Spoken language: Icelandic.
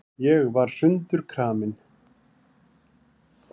Ég var sundurkramin.